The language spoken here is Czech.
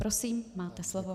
Prosím, máte slovo.